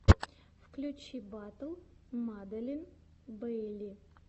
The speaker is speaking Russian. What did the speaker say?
включи батл маделин бейли